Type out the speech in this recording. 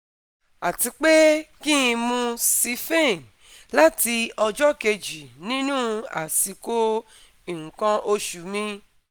Àti pé kí n mú siphane láti ọjọ́ kejì nínú àsìkò nǹkan oṣù mi